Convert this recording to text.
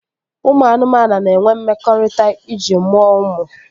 Ụmụ anụmanụ na-enwe mmekọrịta iji mụọ ụmụ